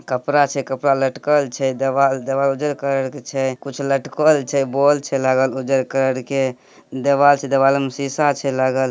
कपड़ छे कपड़ा लटकल छे। देवाल देवाल उजर कलर के छे। कुछ लटकल छे। बॉल छे लागल उजर कलर के। देवाल छे देवाल में सीसा छे लागल |